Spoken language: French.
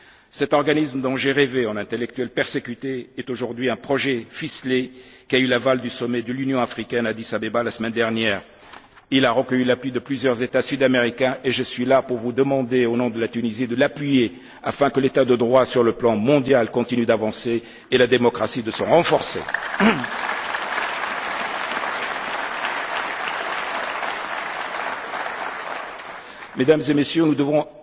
Cet organisme dont j'ai rêvé en intellectuel persécuté est aujourd'hui un projet ficelé qui a eu l'aval du sommet de l'Union africaine à Addis Abeba la semaine dernière. Il a recueilli l'appui de plusieurs États sud américains et je suis là pour vous demander, au nom de la Tunisie, de l'appuyer afin que l'état de droit sur le plan mondial continue d'avancer et la démocratie de se renforcer. Mesdames et Messieurs, nous